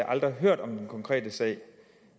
aldrig hørt om den konkrete sag